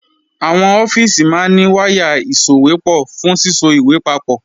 Àwọn ọ́fíìsì máa ní wáyà ìsòwépọ̀ fún síso ìwé papọ̀